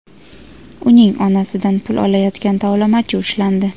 uning onasidan pul olayotgan tovlamachi ushlandi.